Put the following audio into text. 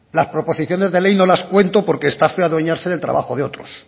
las proposiciones de ley no las cuento porque está feo adueñarse del trabajo de otros